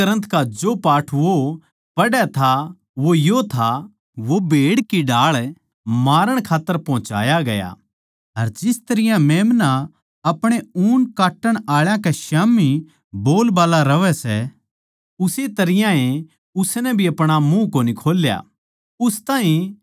पवित्र ग्रन्थ का जो पाठ वो पढ़ै था वो यो था वो भेड़ की ढाळ मारण खात्तर पोहचाया गया अर जिस तरियां मेम्‍ना अपणे ऊन काट्टण आळा कै स्याम्ही बोलबाल्ला रहवै सै उस्से तरियां ए उसनै भी अपणा मुँह कोनी खोल्या